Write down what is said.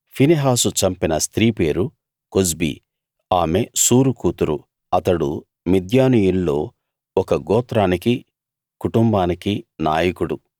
ఫినెహాసు చంపిన స్త్రీ పేరు కొజ్బీ ఆమె సూరు కూతురు అతడు మిద్యానీయుల్లో ఒక గోత్రానికీ కుటుంబానికీ నాయకుడు